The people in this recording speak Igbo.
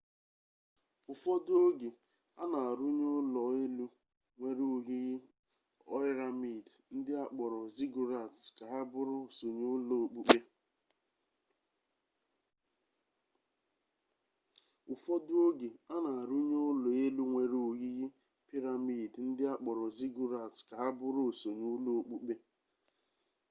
ụfọdụ oge a na arụnye ụlọ elu nwere oyiyi oiramid ndị akpọrọ ziggurats ka ha bụrụ osonye ụlọ okpukpe